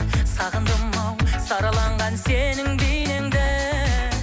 сағындым ау сараланған сенің бейнеңді